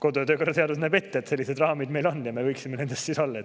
Kodu- ja töökorra seadus näeb ette, et sellised raamid meil on, ja me võiksime siis nendes olla.